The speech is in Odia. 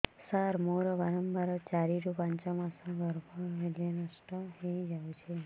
ସାର ମୋର ବାରମ୍ବାର ଚାରି ରୁ ପାଞ୍ଚ ମାସ ଗର୍ଭ ହେଲେ ନଷ୍ଟ ହଇଯାଉଛି